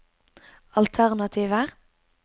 alternativer